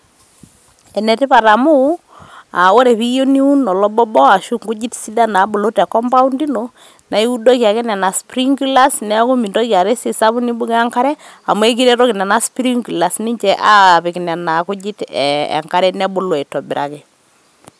ene tipaat amu aa wore piyieuu niwuun olobobo aashu nkujit sidan nabulu te compound ino naa iwudoki ake nenea sprinklers neaku mintoki aata esiai sapuk nimbukoo enkare amu ekiretoki nena sprinkers ninje apiik nena kujiit enkare nebulu aitobiraki